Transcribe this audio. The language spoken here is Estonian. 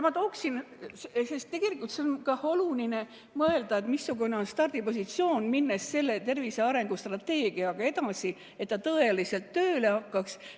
Tegelikult on ka oluline mõelda, missugune on stardipositsioon, minnes tervise arengustrateegiaga edasi, et ta tõeliselt tööle hakkaks.